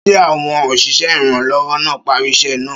Ṣé àwọn òṣìṣẹ́ ìrànwọ́ náà parí iṣẹ́ náà?